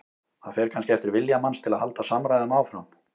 Það fer kannski eftir vilja manns til að halda samræðum áfram.